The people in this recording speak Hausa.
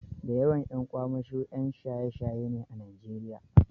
Da yawan ƴan kwamasho ƴan shaye-shaye ne a Najeriya.